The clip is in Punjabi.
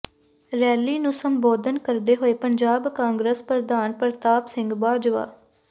ਰੈਲੀ ਨੂੰ ਸੰਬੋਧਨ ਕਰਦੇ ਹੋਏ ਪੰਜਾਬ ਕਾਂਗਰਸ ਪ੍ਰਧਾਨ ਪ੍ਰਤਾਪ ਸਿੰਘ ਬਾਜਵਾ